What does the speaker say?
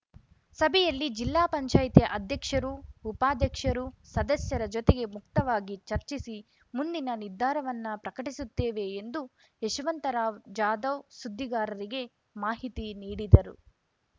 ಸಭೆಯಲ್ಲಿ ಜಿಲ್ಲಾ ಪಂಚಾಯತ್ ಅಧ್ಯಕ್ಷರು ಉಪಾಧ್ಯಕ್ಷರು ಸದಸ್ಯರ ಜೊತೆಗೆ ಮುಕ್ತವಾಗಿ ಚರ್ಚಿಸಿ ಮುಂದಿನ ನಿರ್ಧಾರವನ್ನ ಪ್ರಕಟಿಸುತ್ತೇವೆ ಎಂದು ಯಶವಂತರಾವ್‌ ಜಾಧವ್‌ ಸುದ್ದಿಗಾರರಿಗೆ ಮಾಹಿತಿ ನೀಡಿದರು